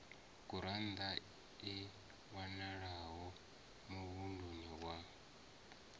gurannḓa i wanalaho muvhunduni wa